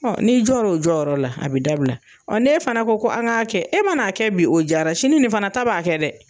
Ɔn n'i jɔ la o jɔyɔrɔ la , a be dabila .Ɔn n'e fana ko an k'a kɛ e ma na kɛ bi , o jara sini nin fana ta b'a kɛ dɛ!